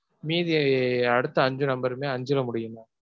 மீதி அடுத்த அஞ்சு number ருமே அஞ்சுல முடியும் mam.